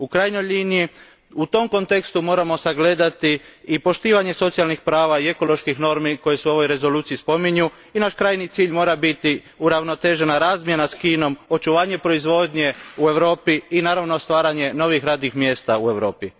U krajnjoj liniji, u tom kontekstu moramo sagledati i poštovanje socijalnih prava i ekoloških normi koje su u ovoj Rezoluciji spominju i naš krajnji cilj mora biti uravnotežena razmjena s Kinom, očuvanje proizvodnje u Europi i, naravno, stvaranje novih radnih mjesta u Europi.